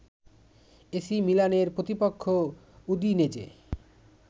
AC মিলানের প্রতিপক্ষ উদিনেজে